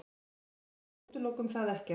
Við útilokum það ekkert.